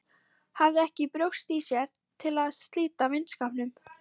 Hafði ekki brjóst í sér til að slíta vinskapnum.